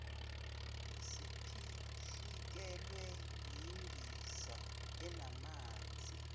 isiphihlikelwe yimbiza enamanzi